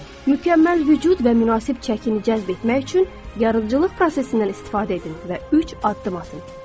Mükəmməl vücud və münasib çəkini cəzb etmək üçün yaradıcılıq prosesindən istifadə edin və üç addım atın.